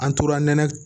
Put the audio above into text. An tora nɛnɛ